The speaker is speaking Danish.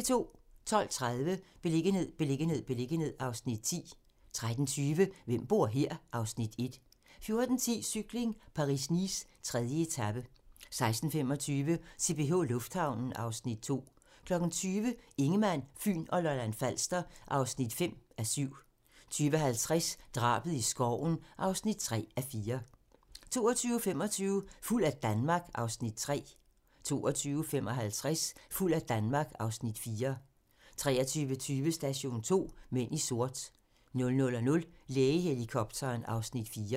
12:30: Beliggenhed, beliggenhed, beliggenhed (Afs. 10) 13:20: Hvem bor her? (Afs. 1) 14:10: Cykling: Paris-Nice - 3. etape 16:25: CPH Lufthavnen (Afs. 2) 20:00: Ingemann, Fyn og Lolland-Falster (5:7) 20:50: Drabet i skoven (3:4) 22:25: Fuld af Danmark (Afs. 3) 22:55: Fuld af Danmark (Afs. 4) 23:20: Station 2: Mænd i sort 00:00: Lægehelikopteren (Afs. 4)